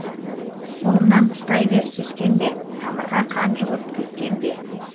қолымнан ұстай бер сескенбе тамырға қан жүгірт кектенбе